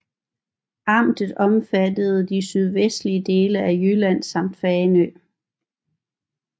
Amtet omfattede de sydvestlige dele af Jylland samt Fanø